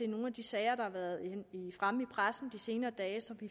nogle af de sager der har været fremme i pressen de senere dage så vi